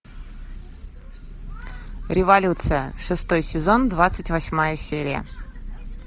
революция шестой сезон двадцать восьмая серия